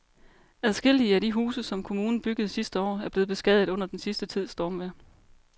Adskillige af de huse, som kommunen byggede sidste år, er blevet beskadiget under den sidste tids stormvejr.